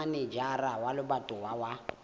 ya manejara wa lebatowa wa